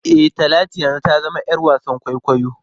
E, Talatu yanzu ta zama ‘yar wasan kwaikwayo.